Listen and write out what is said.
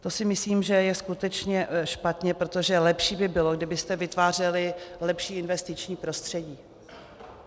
To si myslím, že je skutečně špatně, protože lepší by bylo, kdybyste vytvářeli lepší investiční prostředí.